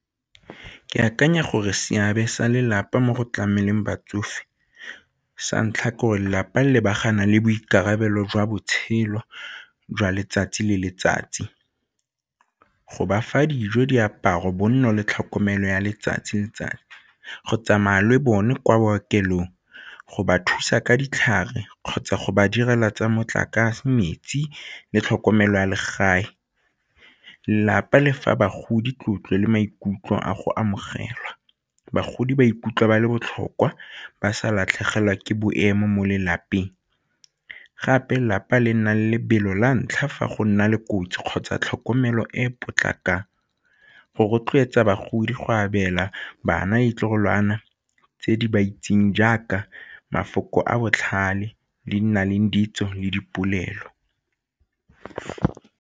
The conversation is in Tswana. Ke akanya gore seabe sa lelapa mo go tlameleng batsofe sa ntlha ke gore lelapa le lebagana le boikarabelo jwa botshelo jwa letsatsi le letsatsi, go ba fa dijo, diaparo, bonno le tlhokomelo ya letsatsi le letsatsi. Go tsamaya le bone kwa bookelong, go ba thusa ka ditlhare kgotsa go ba direla tsa motlakase, metsi le tlhokomelo ya legae. Lelapa le fa bagodi tlotlo le maikutlo a go amogelwa, bagodi ba ikutlwa ba le botlhokwa ba sa latlhegelwa ke boemo mo lelapeng gape lelapa le nna lebelo la ntlha fa go nna le kotsi kgotsa tlhokomelo e e potlakang go rotloetsa bagodi go abela bana ditlogolwana tse di ba itseng jaaka mafoko a botlhale di na leng ditso le dipolelo.